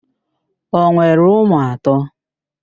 O nwere ụmụ atọ?